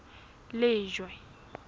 lejwe